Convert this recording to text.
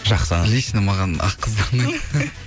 жақсы лично маған ақ қыздар ұнайды